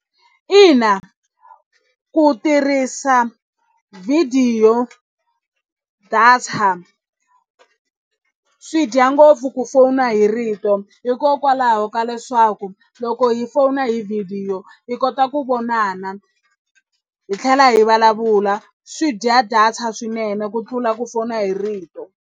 Ina ku tirhisa vhidiyo data swi dya ngopfu ku fona hi rito hi hikokwalaho ka leswaku loko hi fona hi vhidiyo hi kota ku vonana hi tlhela hi vulavula swi dya data swinene ku tlula ku fona hi rito.